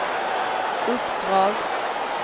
uppdrag